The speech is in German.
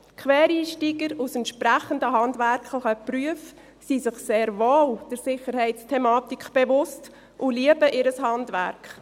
Quereinsteiger aus entsprechenden handwerklichen Berufen sind sich der Sicherheitsthematik sehr wohl bewusst und lieben ihr Handwerk.